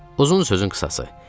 Uzun sözün qısası.